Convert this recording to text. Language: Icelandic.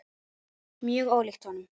Mjög ólíkt honum.